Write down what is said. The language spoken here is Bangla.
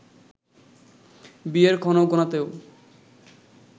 বিয়ের ক্ষণ গোনাতেও